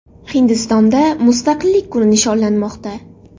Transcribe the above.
Hindistonda Mustaqillik kuni nishonlanmoqda.